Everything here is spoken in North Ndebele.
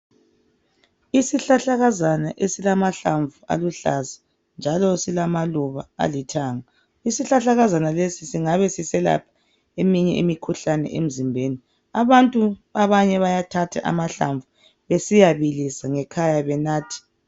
Isihlahlakazana esilamahlamvu aluhlaza njalo silamaluba alithanga. Isihlahlakazana lesi singabe siselapha eminye imikhuhlane emzimbeni. Abantu abanye bayathatha amahlamvu besiyabilisa ngekhaya benathe.